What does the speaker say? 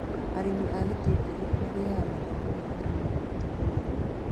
Arĩmi a itũngũrũ magĩaga mathomo ma ũrĩmi wa matukũ maya